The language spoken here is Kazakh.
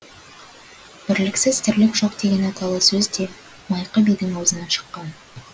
бірліксіз тірлік жоқ деген аталы сөз де майқы бидің аузынан шыққан